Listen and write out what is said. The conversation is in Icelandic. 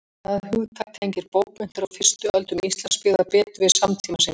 Það hugtak tengir bókmenntir á fyrstu öldum Íslandsbyggðar betur við samtíma sinn.